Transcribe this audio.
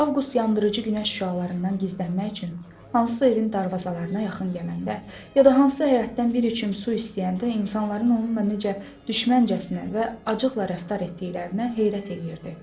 Avqust yandırıcı günəş şüalarından gizlənmək üçün hansısa evin darvazalarına yaxın gələndə, ya da hansısa həyətdən bir içim su istəyəndə insanların onunla necə düşməncəsinə və acıqla rəftar etdiklərinə heyrət eləyirdi.